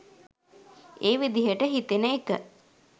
ඒ විදිහට හිතෙන එක